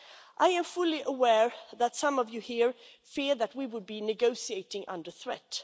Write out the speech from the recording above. I am fully aware that some of you here fear we will be negotiating under threat.